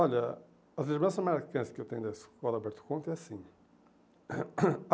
Olha, as lembranças marcantes que eu tenho da escola Alberto Conte é assim.